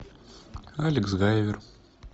алекс гайвер